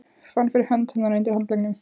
Fann fyrir hönd hennar undir handleggnum.